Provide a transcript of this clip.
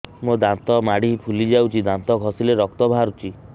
ମୋ ଦାନ୍ତ ମାଢି ଫୁଲି ଯାଉଛି ଦାନ୍ତ ଘଷିଲେ ରକ୍ତ ବାହାରୁଛି